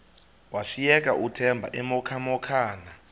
washiyeka uthemba emhokamhokana